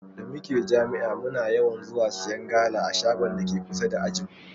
Da muke jami'a muna yawan zuwa siyan gala a shagon dake kusa da ajinmu.